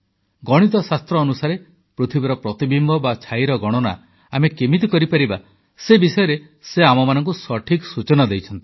ଗଣିତଶାସ୍ତ୍ର ଅନୁସାରେ ପୃଥିବୀର ପ୍ରତିବିମ୍ବ ବା ଛାଇର ଗଣନା ଆମେ କେମିତି କରିପାରିବା ସେ ବିଷୟରେ ସେ ଆମମାନଙ୍କୁ ସଠିକ୍ ସୂଚନା ଦେଇଛନ୍ତି